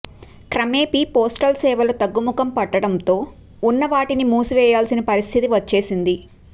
క్రమేపి postal సేవలు తగ్గుముఖం పట్టడంతో ఉన్న వాటిని మూసివే యాల్సిన పరిస్థితి వచ్చేసింది